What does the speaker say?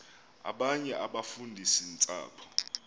abanye abafundisi ntshapo